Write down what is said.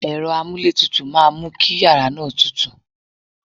Ẹ̀rọ amúlé tutù máa mú kí yàrá náà tútù.